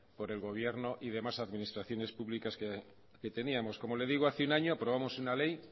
por el gobierno y demás administraciones públicas que teníamos como le digo hace un año aprobamos una ley